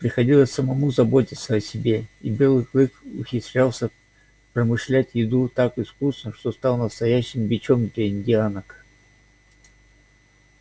приходилось самому заботиться о себе и белый клык ухитрялся промышлять еду так искусно что стал настоящим бичом для индианок